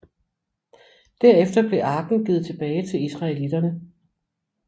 Derefter blev arken givet tilbage til israelitterne